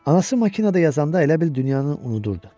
Anası makinada yazanda elə bil dünyanın unudurdu.